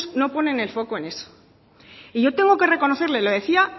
no ponen el foco en eso y yo tengo que reconocerle le decía